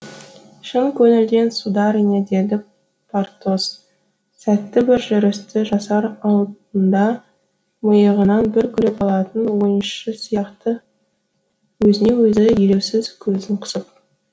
шын көңілден сударыня деді портос сәтті бір жүрісті жасар алдында миығынан бір күліп алатын ойыншы сияқты өзіне өзі елеусіз көзін қысып